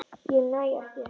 Ég næ ekki.